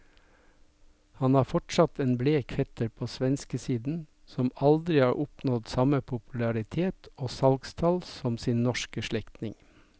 Han har fortsatt en blek fetter på svenskesiden som aldri har oppnådd samme popularitet og salgstall som sin norske slektning.